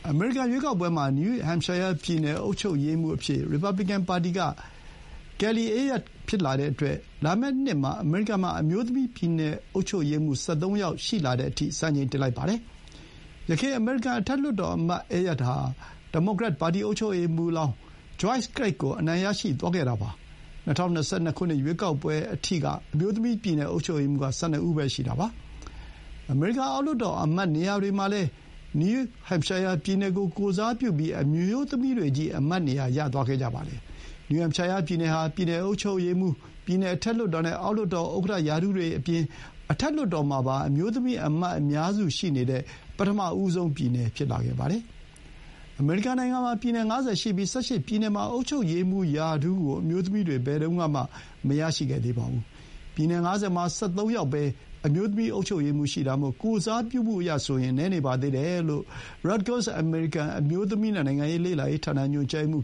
အမေရိကန် ရွေးကောက်ပွဲမှာ နယူးဟမ်ရှိုင်းယား ပြည်နယ် အုပ်ချုပ်ရေးမှူး အဖြစ် ရီပါဘလီကန် ပါတီက Kelly Ayotte ဖြစ်လာတဲ့အတွက် လာမယ့်နှစ်မှာ အမေရိကန် မှာ အမျိုးသမီး ပြည်နယ်အုပ်ချုပ်ရေးမှူး ၁၃ ယောက် အဖြစ် စံချိန်တင်လိုက်ပါတယ်။ ယခင် အမေရိကန် အထက်လွှတ်တော်အမတ် Ayotte ဟာ ဒီမိုကရက် ပါတီ အုပ်ချုပ်ရေးမှူးလောင်း Joyce Craig ကို အနိုင် ရရှိသွားခဲ့တာ ဖြစ်ပါတယ်။ ၂၀၂၂ ရွေးကောက်ပွဲအထိက အမျိုးသမီး ပြည်နယ် အုပ်ချုပ်ရေးမှူး က ၁၂ ပဲ ရှိတာပါ။ အမေရိကန် အောက်လွှတ်တော် အမတ်နေရာတွေမှာလည်း နယူးဟမ်ရှိုင်းယား ပြည်နယ်ကို ကိုယ်စားပြုဖို့ အမျိုးသမီးတွေချည်း အမတ်နေရာ ယူထားကြတာပါ။ နယူးဟမ်ရှိုင်းယား ပြည်နယ် ဟာ ပြည်နယ်အုပ်ချုပ်ရေးမှူး၊ ပြည်နယ် အထက်လွှတ်တော် နဲ့ အောက်လွှတ်တော် ဥက္ကဋ္ဌရာထူးတွေ နဲ့ အထက်လွှတ်တော်မှာ အမျိုးသမီး အမတ် အများစု ရှိနေတဲ့ ပထမဆုံး ပြည်နယ် ဖြစ်လာပါတယ်။ အမေရိကန် နိုင်ငံမှာ ပြည်နယ် ၅၀ ရှိပြီး ၁၈ ပြည်နယ်မှာ အုပ်ချုပ်ရေးမှူးရာထူးကို အမျိုးသမီးတွေ ဘယ်တုန်းကမှ မရရှိသေးပါဘူး။ ပြည်နယ် ၅၀ မှာ ၁၃ ယောက်ပဲ အမျိုးသမီး အုပ်ချုပ်ရေးမှူး ရှိတာမို့ ကိုယ်စားပြုမှုအရ နည်းနေပါသေးတယ်လို့ Rutgers အမေရိကန် အမျိုးသမီး နဲ့ နိုင်ငံရေး လေ့လာရေး ဌာန ညွှန်ကြားရေးမှ